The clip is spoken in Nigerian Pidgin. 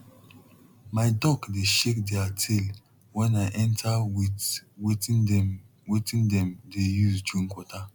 my duck dey shake their tail wen i enter with wetin dem wetin dem dey use drink water